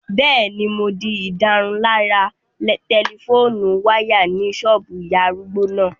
Bẹ́ẹ̀ni, mo di ìdárunlárà tẹlifóònù wáyà ní ṣọ́ọ̀bù ìyá arúgbó náà